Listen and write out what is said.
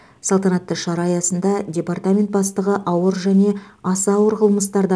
салтанатты шара аясында департамент бастығы ауыр және аса ауыр қылмыстарды